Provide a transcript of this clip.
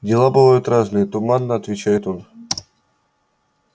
дела бывают разные туманно отвечает он